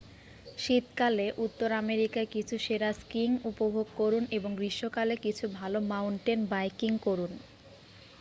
শীতকালে উত্তর আমেরিকায় কিছু সেরা স্কিইং উপভোগ করুন এবং গ্রীষ্মকালে কিছু ভালো মাউন্টেন বাইকিং করুন